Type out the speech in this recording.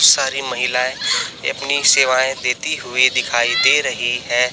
सारी महिलाएं अपनी सेवाएं देती हुई दिखाई दे रही है।